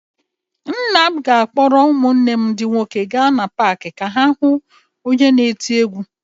Nna m ga-akpọrọ ụmụnne m ndị nwoke gaa na paakị ka ha hụ onye na-eti egwú.